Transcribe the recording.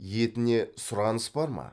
етіне сұраныс бар ма